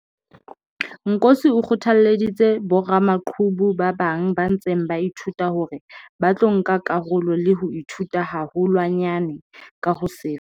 Nkosi o kgothalleditse boramaqhubu ba bang ba ntseng ba ithuta hore ba tlo nka karolo le ho ithuta haholwanyane ka ho sefa.